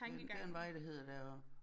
Den det der en vej der hedder deroppe